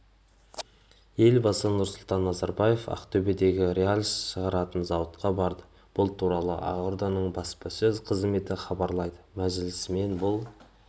елбасы нұрсұлтан назарбаев ақтөбедегі рельс шығаратын зауытқа барды бұл туралы ақорданың баспасөз қызметі хабарлайды мәжілісмен бұл